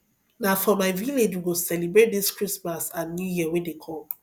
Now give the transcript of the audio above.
na for my village we go celebrate dis christmas and new year wey dey come